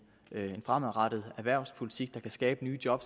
en fremadrettet erhvervspolitik der kan skabe nye job